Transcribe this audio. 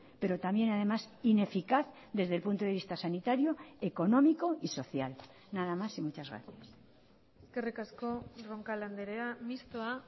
pero también además ineficaz desde el punto de vista sanitario económico y social nada más y muchas gracias eskerrik asko roncal andrea mistoa